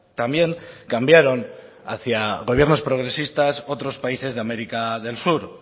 también cambiaron hacia gobiernos progresistas otros países de américa del sur